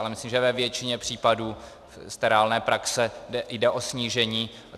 Ale myslím, že ve většině případů z reálné praxe jde o snížení.